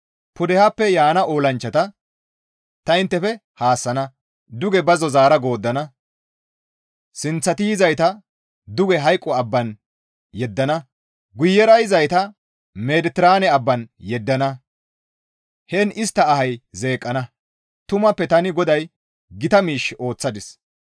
Pudehappe yaana olanchchata ta inttefe haassana; duge bazzo zaara gooddana; sinththati yizayta duge hayqo abban yeddana; guyera yizayta Mediteraane abban yeddana; heen istta ahay zeeqqana; tumappe tani GODAY gita miish ooththadis.